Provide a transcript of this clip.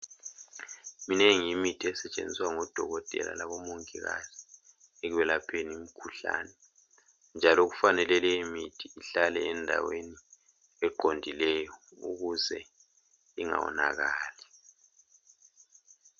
Minengi imithi esetshenziswa ngodokotela labomongikazi ekwelapheni imkhuhlane, njalo kufanele leyo mithi ihlale endaweni eqondileyo ukuze ingawonakali.